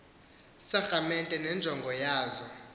sakramente nenjongo yazo